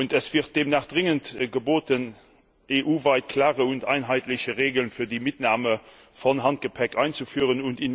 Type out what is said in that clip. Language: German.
Es ist demnach dringend geboten, EU weit klare und einheitliche Regeln für die Mitnahme von Handgepäck einzuführen.